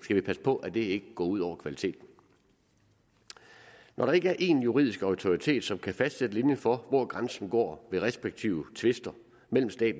skal vi passe på at det ikke går ud over kvaliteten når der ikke er én juridisk autoritet som kan fastsætte linjen for hvor grænsen går ved respektive tvister mellem stat